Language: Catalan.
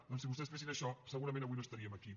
doncs si vostès fessin això segurament avui no estaríem aquí